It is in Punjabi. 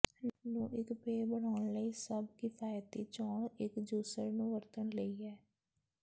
ਨੂੰ ਇੱਕ ਪੇਅ ਬਣਾਉਣ ਲਈ ਸਭ ਕਿਫਾਇਤੀ ਚੋਣ ਇੱਕ ਜੂਸਰ ਨੂੰ ਵਰਤਣ ਲਈ ਹੈ